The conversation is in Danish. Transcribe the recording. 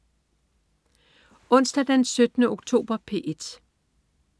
Onsdag den 17. oktober - P1: